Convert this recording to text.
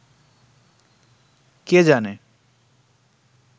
কে জানে